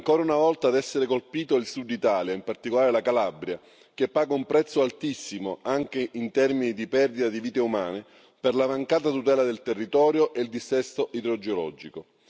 Ancora una volta ad essere colpito è il Sud Italia, in particolare la Calabria, che paga un prezzo altissimo, anche in termini di perdita di vite umane, per la mancata tutela del territorio e il dissesto idrogeologico.